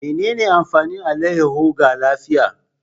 Menene amfanin alayyahu ga lafiya.